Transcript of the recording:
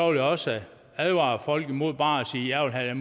jeg også advare folk imod bare at sige jeg vil have